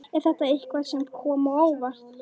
Er þetta eitthvað sem kom á óvart?